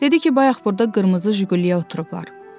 Dedi ki, bayaq burda qırmızı Jiguliyə oturublar.